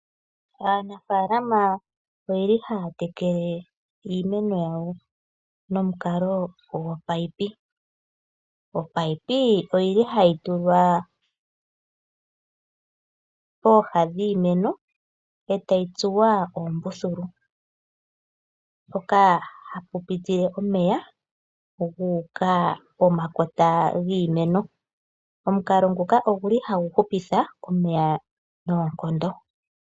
Aanafaalama ohaya tekele iimeno yawo nomukalo gopaipi. Opaipi ohayi tulwa pooha dhiimeno e tayi tsuwa oombululu mpoka hapu pitile omeya guuka pomakota giimeno. Omukalo nguka ohagu hupitha omeya noonkondo.